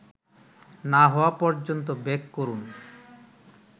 না হওয়া পর্যন্ত বেক করুন